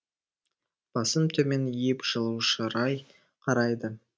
басын төмен иіп жылу шырай қарайды